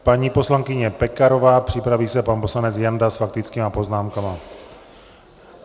Paní poslankyně Pekarová, připraví se pan poslanec Janda s faktickými poznámkami.